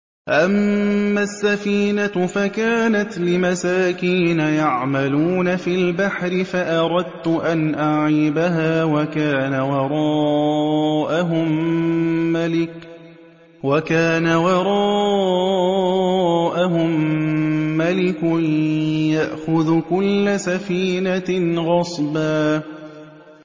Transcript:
أَمَّا السَّفِينَةُ فَكَانَتْ لِمَسَاكِينَ يَعْمَلُونَ فِي الْبَحْرِ فَأَرَدتُّ أَنْ أَعِيبَهَا وَكَانَ وَرَاءَهُم مَّلِكٌ يَأْخُذُ كُلَّ سَفِينَةٍ غَصْبًا